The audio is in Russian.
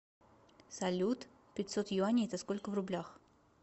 салют пятьсот юаней это сколько в рублях